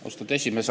Austatud esimees!